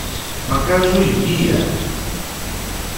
покажи мия